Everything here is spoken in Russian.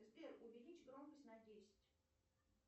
сбер увеличь громкость на десять